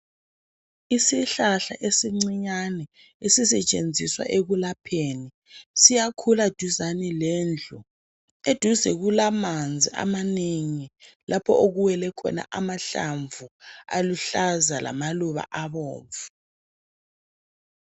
Isihlahla ezincinyane esisetshenziswa ekulapheni siyakhula duzane lendlu eduze kulamanzi amanengi lapho okumele amahlamvu aluhlaza lamaluba abomvu